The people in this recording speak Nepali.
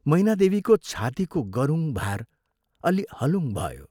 मैनादेवीको छातीको गरुङ भार अल्लि हलुङ भयो